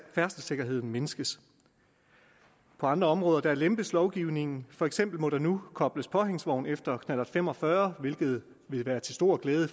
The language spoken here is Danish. færdselssikkerheden mindskes på andre områder lempes lovgivningen for eksempel må der nu kobles påhængsvogn efter knallert fem og fyrre hvilket vil være til stor glæde